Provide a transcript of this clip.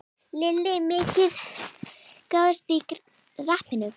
Lillý: Mikil gróska í rappinu?